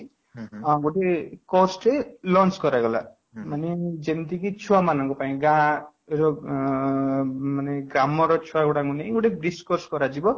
ଗୋଟିଏ course ଟେ lunch କରାଗଲା ମାନେ ଯେମିତିକି ଛୁଆ ମାନଙ୍କ ପାଇଁ ଗାଁ ରେ ଅଂ ମାନେ ଗ୍ରାମ ର ଛୁଆ ମାନଙ୍କୁ ନେଇ discuss କରାଯିବ